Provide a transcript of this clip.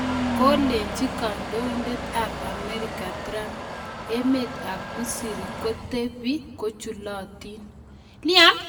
Kolechi kandoindet ab Amerika trump emet ab misri kotepi kochulatin.